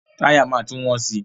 Táyà máa tún wọ́n si.